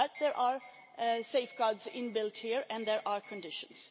But there are safeguards in built here and there are conditions.